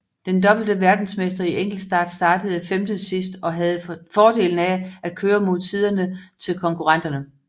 Den dobbelte verdensmester i enkeltstart startede femte sidst og havde fordelen af at køre mod tiderne til konkurrenterne